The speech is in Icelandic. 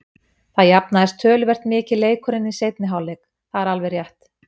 Það jafnaðist töluvert mikið leikurinn í seinni hálfleik, það er alveg rétt.